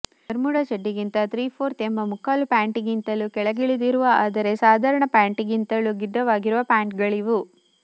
Bermuda ಚಡ್ಡಿಗಿಂತ three fourth ಎಂಬ ಮುಕ್ಕಾಲು ಪ್ಯಾಂಟ್ಗಿಂತಲೂ ಕೆಳಗಿಳಿದಿರುವ ಆದರೆ ಸಾಧಾರಣ ಪ್ಯಾಂಟ್ಗಿಂತಲೂ ಗಿಡ್ಡವಾಗಿರುವ ಪ್ಯಾಂಟ್ಗಳಿವು